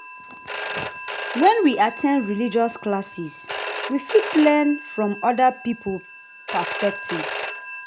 When we at ten d religious classes we fit learn from oda pipo perspective